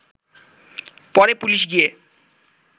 পরে পুলিশ গিয়ে